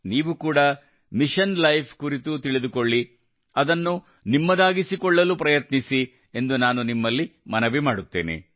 ನೀವು ಕೂಡಾ mission life ಕುರಿತು ತಿಳಿದುಕೊಳ್ಳಿ ಅದನ್ನು ನಿಮ್ಮದಾಗಿಸಿಕೊಳ್ಳಲು ಪ್ರಯತ್ನಿಸಿ ಎಂದು ನಾನು ನಿಮ್ಮಲ್ಲಿ ಮನವಿ ಮಾಡುತ್ತೇನೆ